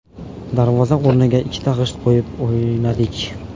Darvoza o‘rniga ikkita g‘isht qo‘yib o‘ynardik.